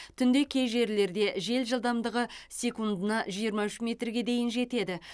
түнде кей жерлерде жел жылдамдығы секундына жиырма үш метрге дейін жетеді